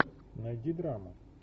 найди драма